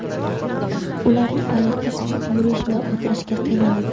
Ular tufayli qiz yurish va o‘tirishga qiynaladi.